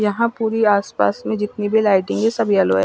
यहां पूरी आसपास में जितनी भी लाइटिंग है सब येलो है।